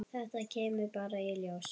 Þetta kemur bara í ljós.